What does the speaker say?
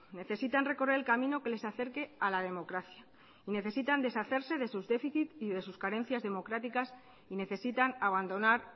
necesitan recorrer el camino que les acerque a la democracia y necesitan deshacerse de sus déficit y de sus carencias democráticas y necesitan abandonar